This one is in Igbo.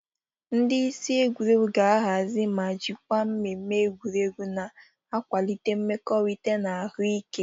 Ndị isi egwuregwu ga-ahazi ma jikwaa mmemme egwuregwu na-akwalite mmekorita na ahụ ike.